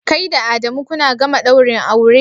Kai da Adamu kuna gama daurin aure?